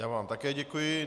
Já vám také děkuji.